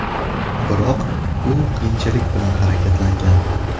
Biroq u qiyinchilik bilan harakatlangan.